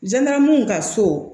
N taara mun ka so